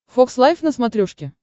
фокс лайв на смотрешке